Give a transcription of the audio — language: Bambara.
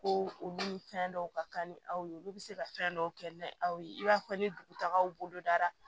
Ko olu ni fɛn dɔw ka kan ni aw ye olu bɛ se ka fɛn dɔw kɛ ni aw ye i b'a fɔ ni dugutagaw bolo dara